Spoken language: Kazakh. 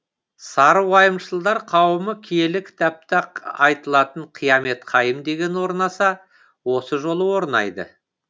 сары уайымшылдар қауымы киелі кітапта айтылатын қиямет қайым деген орнаса осы жолы орнайды